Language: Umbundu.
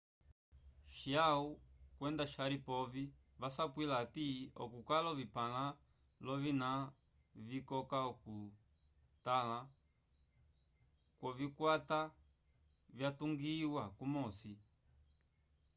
chiao kwenda sharipov vasapwila hati okukala ovipãla l'ovina vikoka okutotãla kwovikwata vyatungiwa kumosi